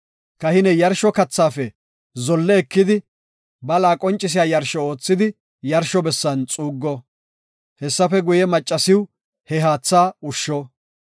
Kahiney yarsho kathaafe zolle ekidi bala qoncisiya yarsho oothidi yarsho bessan xuuggo. Hessafe guye, maccasiw he haatha ushsho.